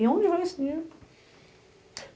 E onde vai esse dinheiro?